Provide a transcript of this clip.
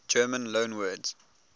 german loanwords